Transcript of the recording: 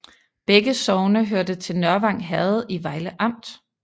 Begge sogne hørte til Nørvang Herred i Vejle Amt